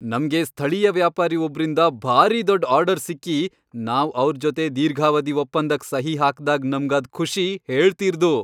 ನಮ್ಗೆ ಸ್ಥಳೀಯ ವ್ಯಾಪಾರಿ ಒಬ್ರಿಂದ ಭಾರಿ ದೊಡ್ ಆರ್ಡರ್ ಸಿಕ್ಕಿ, ನಾವ್ ಅವ್ರ್ ಜೊತೆ ದೀರ್ಘಾವಧಿ ಒಪ್ಪಂದಕ್ ಸಹಿ ಹಾಕ್ದಾಗ್ ನಮ್ಗಾದ್ ಖುಷಿ ಹೇಳ್ತೀರ್ದು.